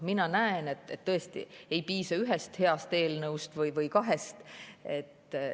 Mina näen, et tõesti ei piisa ühest heast eelnõust või kahest.